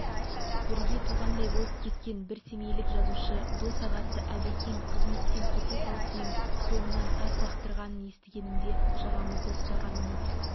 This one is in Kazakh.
бірге туғандай болып кеткен бір семейлік жазушы дос-ағасы әбекең қызметтен кете салысымен соңынан тас лақтырғанын естігенімде жағамызды ұстағанымыз